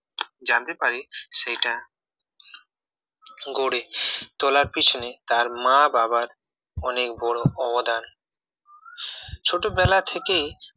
জানতে পারি সেইটা গড়ে তোলার পিছনে তার মা বাবার অনেক বড় অবদান ছোটবেলা থেকে